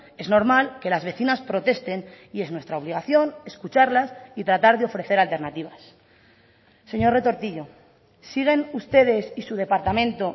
es normal que las vecinas protesten y es nuestra obligación escucharlas y tratar de ofrecer alternativas señor retortillo siguen ustedes y su departamento